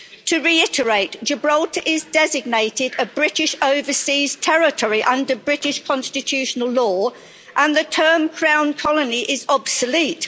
To reiterate, Gibraltar is designated a British overseas territory under British constitutional law, and the term crown colony' is obsolete.